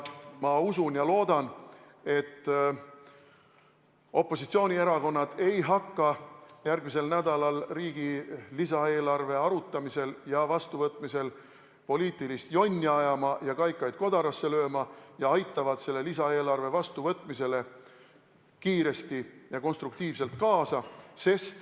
Ma loodan ja usun, et opositsioonierakonnad ei hakka järgmisel nädalal riigi lisaeelarve arutamisel ja vastuvõtmisel poliitilist jonni ajama ega kaikaid kodarasse lööma ning aitavad selle lisaeelarve vastu võtmisele kiiresti ja konstruktiivselt kaasa.